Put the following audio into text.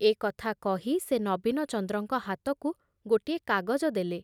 ଏ କଥା କହି ସେ ନବୀନଚନ୍ଦ୍ରଙ୍କ ହାତକୁ ଗୋଟିଏ କାଗଜ ଦେଲେ।